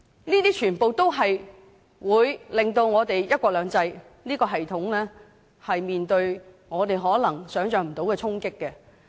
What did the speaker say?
這些全部也會令我們的"一國兩制"系統面對我們可能無法想象的衝擊。